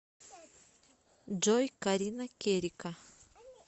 джой карина керика